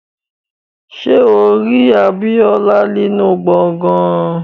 Ṣé o rí Abíọ́lá nínú gbọ̀ngán?